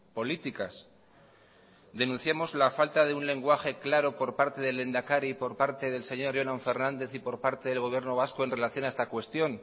políticas denunciamos la falta de un lenguaje claro por parte del lehendakari por parte del señor jonan fernández y por parte del gobierno vasco en relación a esta cuestión